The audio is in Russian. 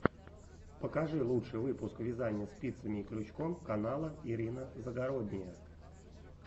покажи лучший выпуск вязания спицами и крючком канала ирина загородния